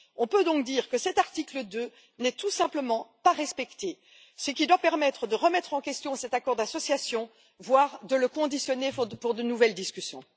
On peut donc dire que cet article 2 n'est tout simplement pas respecté, ce qui doit permettre de remettre en question cet accord d'association, voire de le conditionner à de nouvelles discussions.